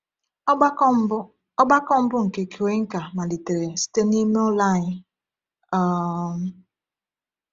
Ọgbakọ mbụ Ọgbakọ mbụ nke Cuenca malitere site n’ime ụlọ anyị. um